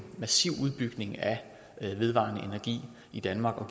massiv udbygning af den vedvarende energi i danmark og